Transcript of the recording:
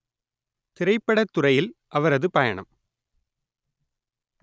திரைப்படத்துறையில் அவரது பயணம்